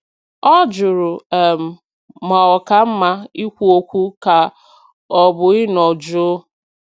Ọ jụrụ um ma ọ ka mma ikwu okwu ka ọ bụ ịnọ jụụ